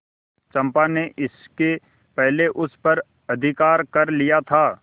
चंपा ने इसके पहले उस पर अधिकार कर लिया था